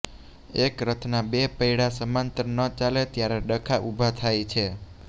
એક રથના બે પૈડા સમાંતર ન ચાલે ત્યારે ડખા ઊભા થાય છે